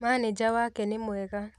Manĩnja wake nĩ mwega